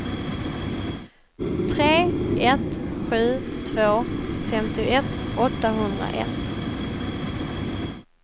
tre ett sju två femtioett åttahundraett